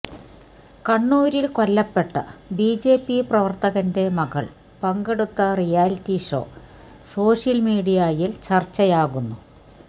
കണ്ണൂരില് കൊല്ലപ്പെട്ട ബിജെപി പ്രവര്ത്തകന്റെ മകള് പങ്കെടുത്ത റിയാലിറ്റി ഷോ സോഷ്യല് മീഡിയയില് ചര്ച്ചയാകുന്നു